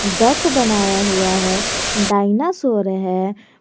Duck बनाया हुआ है डायनासोर है।